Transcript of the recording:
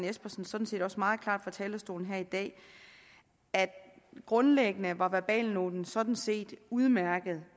espersen sådan set også meget klart fra talerstolen her i dag at grundlæggende var verbalnoten sådan set udmærket